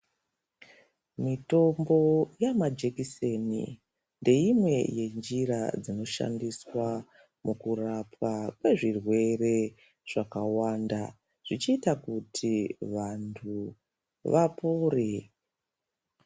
Mitombo yamajekiseni ndeimwe yenjira dzinoshandiswa mukurapwa kwezvirere zvakawanda. Zvichita kuti vantu vapore.